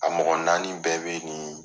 A mɔgɔ naani bɛɛ be nin